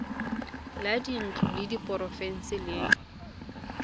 la dintlo la porofense le